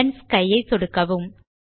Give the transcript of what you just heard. blend sky ஐ சொடுக்கவும்